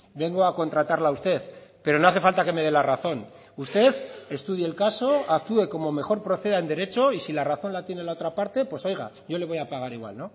vengo a contratarla a usted pero no hace falta que me dé la razón usted estudie el caso actúe como mejor proceda en derecho y si la razón la tiene la otra parte pues oiga yo le voy a pagar igual